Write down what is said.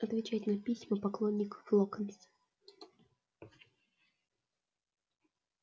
отвечать на письма поклонников локонса